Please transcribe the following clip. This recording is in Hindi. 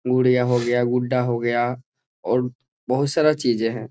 गुड़ीया हो गया गुड्डा हो गया और बहुत सारा चीजें हैं ।